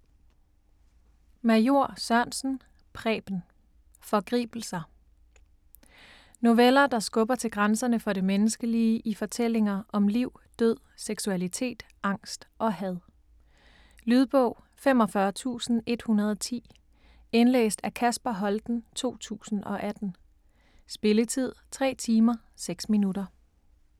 Major Sørensen, Preben: Forgribelser Noveller, der skubber til grænserne for det menneskelige i fortællinger om liv, død, seksualitet, angst og had. Lydbog 45110 Indlæst af Kasper Holten, 2018. Spilletid: 3 timer, 6 minutter.